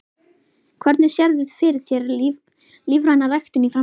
Hvernig sérðu fyrir þér lífræna ræktun í framtíðinni?